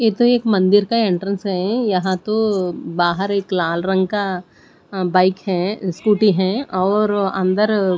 ये तो एक मंदिर का एंट्रेंस है यहां तो बाहर एक लाल रंग का बाइक हैस्कूटी है और अंदर अ --